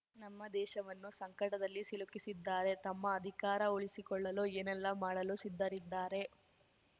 ನಮ್ಮ ದೇಶವನ್ನು ಸಂಕಟದಲ್ಲಿ ಸಿಲುಕಿಸಿದ್ದಾರೆ ತಮ್ಮ ಅಧಿಕಾರ ಉಳಿಸಿಕೊಳ್ಳಲು ಏನೆಲ್ಲಾ ಮಾಡಲು ಸಿದ್ದರಿದ್ದಾರೆ